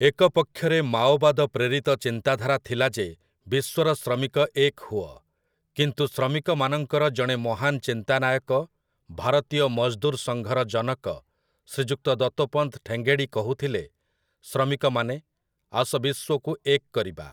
ଏକ ପକ୍ଷରେ ମାଓବାଦ ପ୍ରେରିତ ଚିନ୍ତାଧାରା ଥିଲା ଯେ ବିଶ୍ୱର ଶ୍ରମିକ ଏକ ହୁଅ, କିନ୍ତୁ ଶ୍ରମିକମାନଙ୍କର ଜଣେ ମହାନ ଚିନ୍ତାନାୟକ ଭାରତୀୟ ମଜଦୁର୍ ସଂଘର ଜନକ ଶ୍ରୀଯୁକ୍ତ ଦତୋପନ୍ତ ଠେଙ୍ଗେଡ଼ି କହୁଥିଲେ "ଶ୍ରମିକମାନେ ! ଆସ ବିଶ୍ୱକୁ ଏକ କରିବା" ।